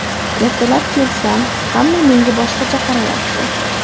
Ertalab kelsam, hamma menga boshqacha qarayapti.